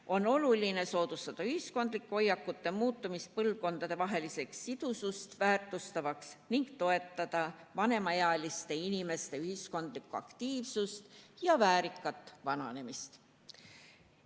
On oluline soodustada ühiskondlike hoiakute muutumist põlvkondadevahelist sidusust väärtustavaks ning toetada vanemaealiste inimeste ühiskondlikku aktiivsust ja väärikat vananemist.